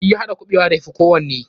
Shi ya haɗa kuɓewa da ya fi kowanne.